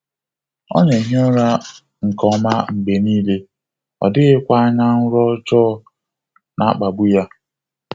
Ọ na-ehi ụra nke ọma mgbe niile, ọ dịghịkwa anya nrọ ọjọọ na-akpagbu ya.